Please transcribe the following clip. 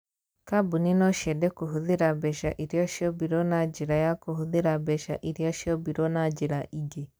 Kambuni no ciende kũhũthĩra mbeca iria ciombirũo na njĩra ya kũhũthĩra mbeca iria ciombirũo na njĩra ingĩ.